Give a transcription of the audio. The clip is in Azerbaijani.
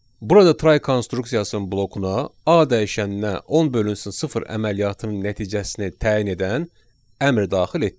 Burada try konstruksiyasının blokuna A dəyişəninə 10 bölünsün sıfır əməliyyatının nəticəsini təyin edən əmr daxil etdik.